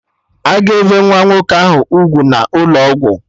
Aga ebe nwa nwoke ahụ ugwu n'ụlọ ọgwụ?